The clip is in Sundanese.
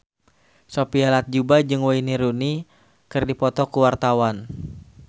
Sophia Latjuba jeung Wayne Rooney keur dipoto ku wartawan